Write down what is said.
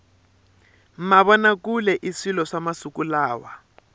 mavona kule i swilo swa masiku lawa